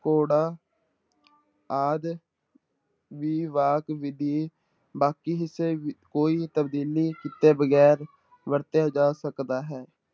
ਘੋੜਾ ਆਦਿ ਦੀ ਵਾਕ ਵਿੱਧੀ ਬਾਕੀ ਹਿੱਸੇ ਕੋਈ ਤਬਦੀਲੀ ਕੀਤੇ ਵਗ਼ੈਰ ਵਰਤਿਆ ਜਾ ਸਕਦਾ ਹੈ।